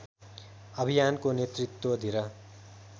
अभियानको नेतृत्व धिर